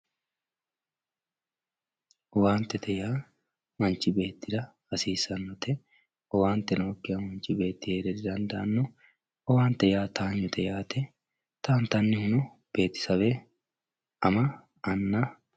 Owaante yaa manchi beettira hasissaanote owaante nookiha manchi beeti heera didandanno, owaante yaa towaanyote yaate, towantanihuno beetesewe, ama anna